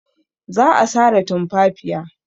Za a sare tumfafiya.